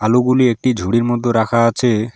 আলুগুলি একটি ঝুড়ির মধ্য রাখা আছে।